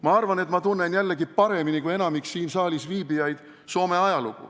Ma arvan, et ma tunnen Soome ajalugu paremini kui enamik siin saalis viibijaid.